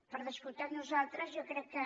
per descomptat nosaltres jo crec que